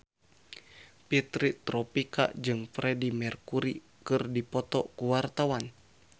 Fitri Tropika jeung Freedie Mercury keur dipoto ku wartawan